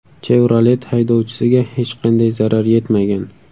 Chevrolet haydovchisiga hech qanday zarar yetmagan.